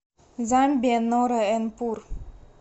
замбия нора эн пур